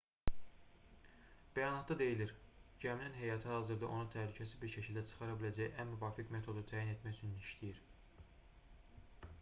bəyanatda deyilir gəminin heyəti hazırda onu təhlükəsiz bir şəkildə çıxara biləcəyi ən müvafiq metodu təyin etmək üçün işləyir